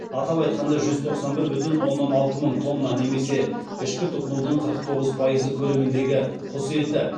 атап айтқанда жүз тоқсан бір бүтін оннан алты мың тонна немесе ішкі тұтынудың қырық тоғыз пайызы көлеміндегі құс еті